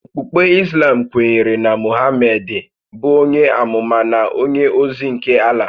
Okpukpe Islam kwenyere na Mohamedị bụ onye ámúmá na onye ózí nke Allah